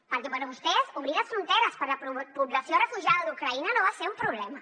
perquè per vostès obrir les fronteres per a població refugiada d’ucraïna no va ser un problema